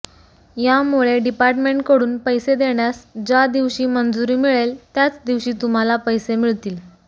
यामुळे डिपार्टमेंटकडून पैसे देण्यास ज्या दिवशी मंजुरी मिळेल त्याच दिवशी तुम्हाला पैसे मिळतील